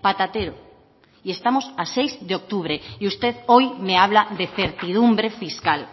patatero y estamos a seis de octubre y usted hoy me habla de certidumbre fiscal